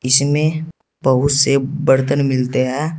इसमें बहुत से बर्तन मिलते हैं।